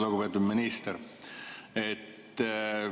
Lugupeetud minister!